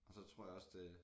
Og så tror jeg også det er